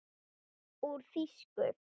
Úr þýsku